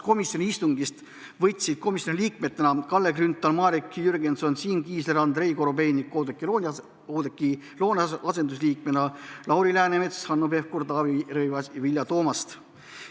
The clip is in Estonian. Komisjoni istungist võtsid komisjoni liikmetena osa Kalle Grünthal, Marek Jürgenson, Siim Kiisler, Andrei Korobeinik, Oudekki Loone asendusliikmena Lauri Läänemets, Hanno Pevkur, Taavi Rõivas ja Vilja Toomast.